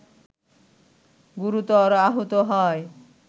গুরুতর আহত হয়